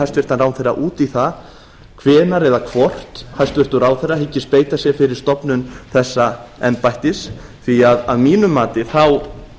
hæstvirtan ráðherra út í það hvenær eða hvort hæstvirtur ráðherra hyggist beita sér fyrir stofnun þessa embættis því að mínu mati þá